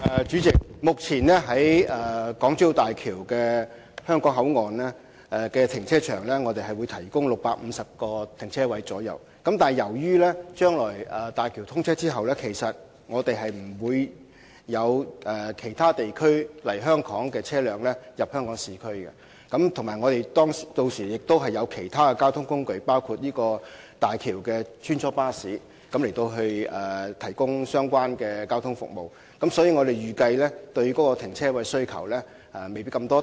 主席，位於港珠澳大橋香港口岸的停車場將會提供約650個停車位，但由於大橋通車後不會有車輛從其他地方來港並且駛進市區，而且屆時亦會有其他交通工具，包括行走大橋的穿梭巴士，提供有關的交通服務，所以，我們預計市民對停車位的需求未必那麼大。